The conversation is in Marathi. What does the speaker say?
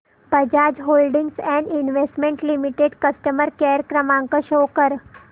Bajaj holdings and investment limited customer care क्रमांक शो कर